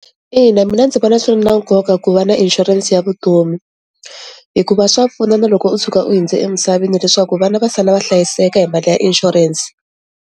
Ina, mina ndzi vona swi ri na nkoka ku va na inshurense ya vutomi hikuva swa pfuna na loko u tshuka u hundze emisaveni leswaku vana va sala va hlayiseka hi mali ya insurance.